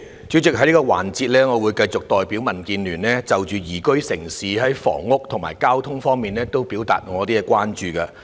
主席，在這個環節，我會繼續代表民主建港協進聯盟就宜居城市在房屋和交通方面表達我們的關注。